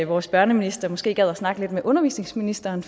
vores børneminister måske gad at snakke lidt med undervisningsministeren